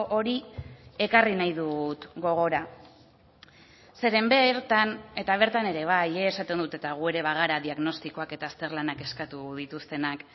hori ekarri nahi dut gogora zeren bertan eta bertan ere bai esaten dut eta gu ere bagara diagnostikoak eta azterlanak eskatu dituztenak